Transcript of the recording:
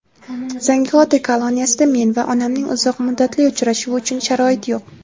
Zangiota koloniyasida men va onamning uzoq muddatli uchrashuvi uchun sharoit yo‘q.